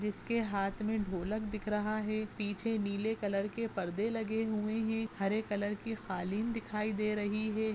जिसके हाथ मे ढोलक दिख रहा है पीछे नीले कलर के पड़दे लगे हुए है हरे कलर की ख़ालिन दिखाई दे रही है।